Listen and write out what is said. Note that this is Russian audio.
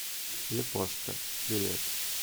япошка билет